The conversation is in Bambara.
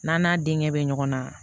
N'a n'a denkɛ bɛ ɲɔgɔn na